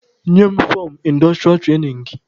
Nye m fọmụ indostrịa trainin gị!